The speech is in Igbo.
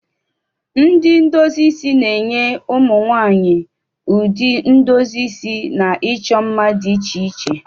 Ndị ndozi isi na-enye ụmụ nwaanyị ụdị ndozi isi na ịchọ mma dị iche iche.